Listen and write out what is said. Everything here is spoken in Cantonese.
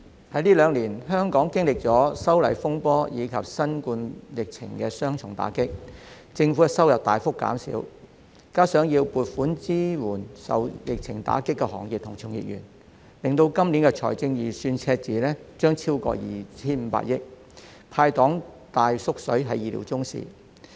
代理主席，香港這兩年經歷了修例風波及新冠疫情的雙重打擊，政府收入大幅減少；再加上要撥款支援受疫情打擊的行業及其從業員，今年財政預算赤字將超過 2,500 億元，"派糖""大縮水"是意料中事。